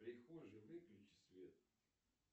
в прихожей выключи свет